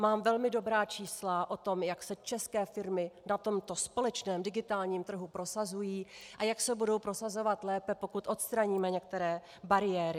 Mám velmi dobrá čísla o tom, jak se české firmy na tomto společném digitálním trhu prosazují a jak se budou prosazovat lépe, pokud odstraníme některé bariéry.